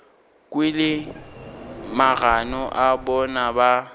kwele magano a bona ba